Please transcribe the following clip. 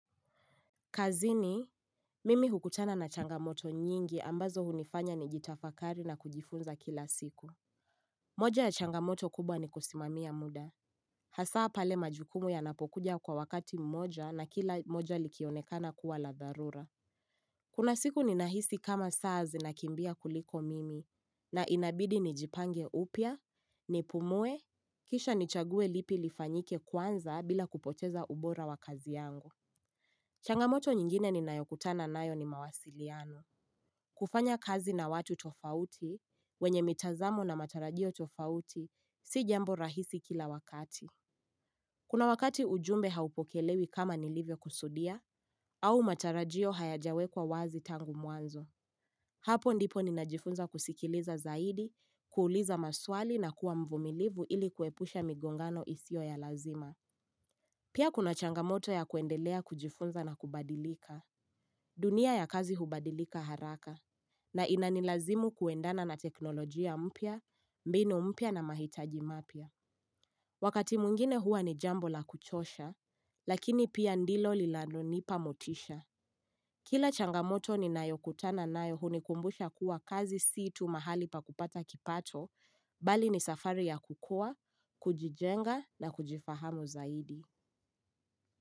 Kazini, mimi hukutana na changamoto nyingi ambazo hunifanya ni jitafakali na kujifunza kila siku. Moja ya changamoto kubwa ni kusimamia muda. Hasaa pale majukumu yanapokuja kwa wakati mmoja na kila moja likionekana kuwa la dharura. Kuna siku ni nahisi kama saa zina kimbia kuliko mimi na inabidi ni jipange upya, ni pumue, kisha ni chague lipi lifanyike kwanza bila kupoteza ubora wa kazi yangu. Changamoto nyingine ni nayokutana nayo ni mawasiliano. Kufanya kazi na watu tofauti, wenye mitazamo na matarajio tofauti, si jambo rahisi kila wakati. Kuna wakati ujumbe haupokelewi kama nilivyo kusudia, au matarajio hayajawekwa wazi tangu mwanzo. Hapo ndipo ninajifunza kusikiliza zaidi, kuuliza maswali na kuwa mvumilivu ili kuepusha migongano isio ya lazima. Pia kuna changamoto ya kuendelea kujifunza na kubadilika. Dunia ya kazi hubadilika haraka na inanilazimu kuendana na teknolojia mpya, mbinu mpya na mahitaji mapya. Wakati mwingine hua ni jambo la kuchosha, lakini pia ndilo lilano nipa motisha. Kila changamoto ni nayo kutana nayo hunikumbusha kuwa kazi si tu mahali pa kupata kipato, bali ni safari ya kukua, kujijenga na kujifahamu zaidi.